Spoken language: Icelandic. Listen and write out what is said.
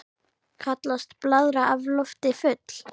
Kallast blaðra af lofti full.